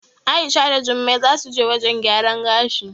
A'isha da Jummai zasu je wajen gyaran gashi.